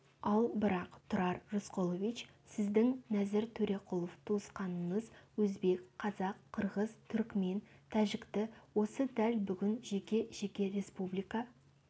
ал бірақ тұрар рысқұлович сіздің нәзір төреқұлов туысқаныңыз өзбек қазақ қырғыз түрікмен тәжікті осы дәл бүгін жеке-жеке республика